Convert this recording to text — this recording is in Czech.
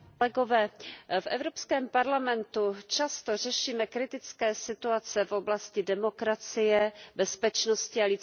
V Evropském parlamentu často řešíme kritické situace v oblasti demokracie, bezpečnosti a lidských práv.